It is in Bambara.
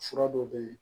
Fura dɔw bɛ yen